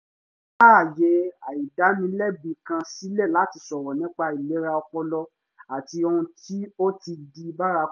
wọ́n dá àyè àìdánilẹ́bi kan sílẹ̀ láti sọ̀rọ̀ nípa ìlera ọpọlọ àti ohun tí ó ti di bárakú